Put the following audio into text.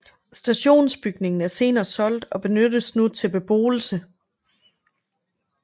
Stationsbygningen er senere solgt fra og benyttes nu til beboelse